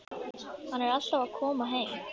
Hann er alltaf að koma heim.